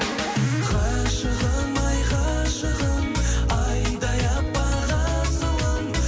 ғашығым ай ғашығым айдай аппақ асылым